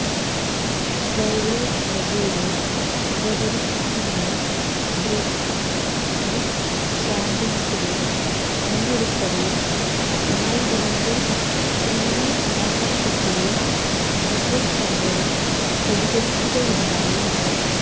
ഗൌരവ്വ് കപൂര് അവതരിപ്പിക്കുന്ന breakfast with ചാമ്പ്യന്സില് പങ്കെടുക്കവെ റായിഡുവിന്റെ ത്രിഡി പരാമര്ശത്തില് വിജയ് ശങ്കര് പ്രതികരിക്കുകയുണ്ടായി